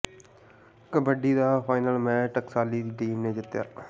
ਕਬੱਡੀ ਦਾ final match Thaskali ਦੀ team ਨੇ ਜਿੱਤਿਆ